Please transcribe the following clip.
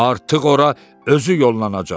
artıq ora özü yollanacaq.